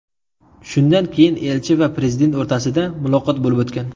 Shundan keyin elchi va prezident o‘rtasida muloqot bo‘lib o‘tgan.